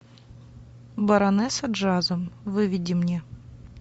баронесса джаза выведи мне